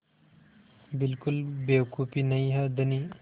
बिल्कुल बेवकूफ़ी नहीं है धनी